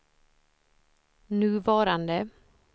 nuvarande